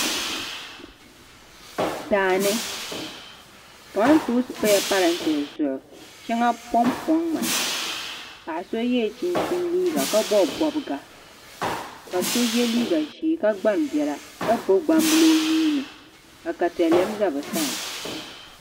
Daani kamantoosi pala parentɛ zuɣu shɛŋa ponpoŋ mi paɣ so yɛla chinchin liiga ka bobi bobga ka so yɛ liiga ʒiɛ ka gbani biɛla ka gbubi gnambili o nuuni ka katalɛm ʒɛ bi sani